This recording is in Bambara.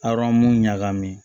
Aran mu ɲagami